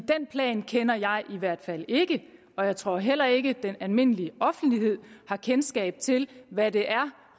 den plan kender jeg i hvert fald ikke og jeg tror heller ikke at den almindelige offentlighed har kendskab til hvad det er